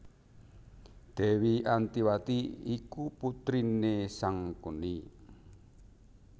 Dèwi Antiwati iku putriné Sangkuni